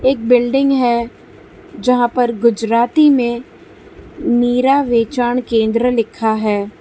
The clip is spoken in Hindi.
एक बिल्डिंग है जहां पर गुजराती में मीरा केंद्र लिखा है।